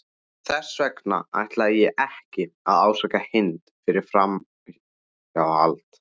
Þess vegna ætla ég ekki að ásaka Hind fyrir framhjáhald.